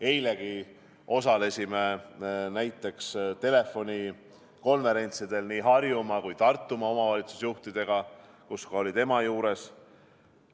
Eilegi osalesime näiteks telefonikonverentsidel nii Harjumaa kui Tartumaa omavalitsusjuhtidega, kus ka oli tema juures.